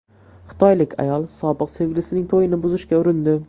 Xitoylik ayol sobiq sevgilisining to‘yini buzishga urindi .